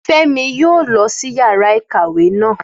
Fẹ́mi yóò lọ sí yàrá ìkàwé naa.